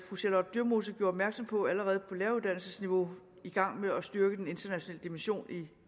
fru charlotte dyremose gjorde opmærksom på allerede på læreruddannelsesniveau i gang med at styrke den internationale dimension i